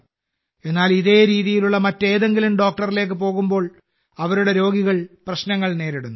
എന്നാൽ ഇതേ രീതിയിലുള്ള മറ്റേതെങ്കിലും ഡോക്ടറിലേക്ക് പോകുമ്പോൾ അവരുടെ രോഗികൾ പ്രശ്നങ്ങൾ നേരിടുന്നു